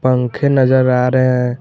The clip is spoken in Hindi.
पंखे नजर आ रहे हैं।